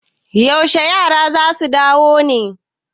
Yaushe yara za su dawo ne?